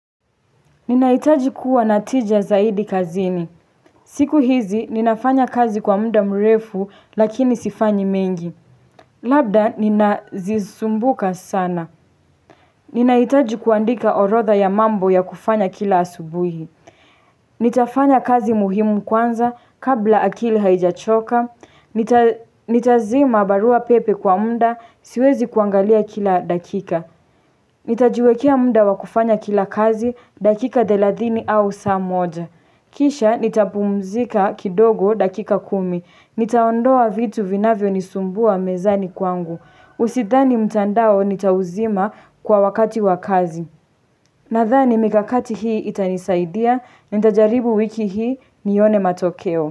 Ninaitaji kuwa natija zaidi kazini. Siku hizi ninafanya kazi kwa muda mrefu lakini sifanyi mengi. Labda nina zisumbuka sana. Ninaitaji kuandika orodha ya mambo ya kufanya kila asubuhi. Nitafanya kazi muhimu kwanza kabla akili haijachoka, nitazima barua pepe kwa muda siwezi kuangalia kila dakika Nitajiwekea muda wakufanya kila kazi dakika thelathini au saa moja Kisha nitapumzika kidogo dakika kumi, nitaondoa vitu vinavyo nisumbua mezani kwangu Usidhani mtandao nitauzima kwa wakati wakazi Nadhani mikakati hii itanisaidia na ntajaribu wiki hii nione matokeo.